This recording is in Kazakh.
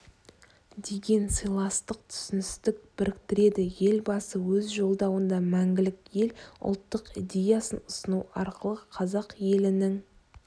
деген сыйластық түсіністік біріктіреді елбасы өз жолдауында мәңгілік ел ұлттық идеясын ұсыну арқылы қазақ елінің